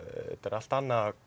allt annað að